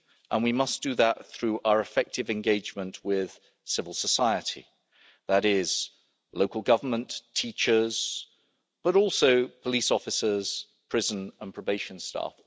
and we must do that through our effective engagement with civil society, that is, local government, teachers, but also police officers, prison and probation staff.